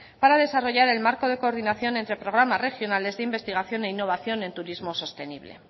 para desarrollar el marco de coordinación entre programas regionales de investigación e innovación en turismo sostenible